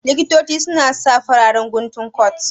Likitoci su na sa fararen guntun kot